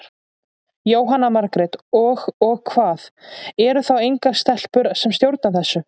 Jóhanna Margrét: Og, og hvað, eru þá engar stelpur sem stjórna þessu?